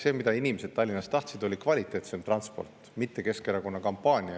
See, mida inimesed Tallinnas tahtsid, oli kvaliteetsem transport, mitte Keskerakonna kampaania.